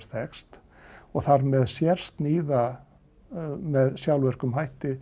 þekkst og þar með sérsníða með sjálfvirkum hætti